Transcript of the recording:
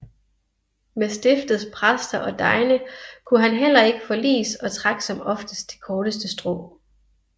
Med stiftets præster og degne kunne han heller ikke forliges og trak som oftest det korteste strå